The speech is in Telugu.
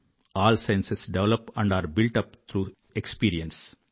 all sciences develop and are built up through experience అని